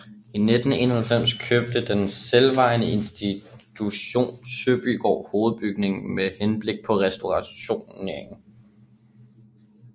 I 1991 købte den selvejende institution Søbygård hovedbygningen med henblik på restaurering